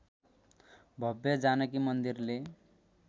भव्य जानकी मन्दिरले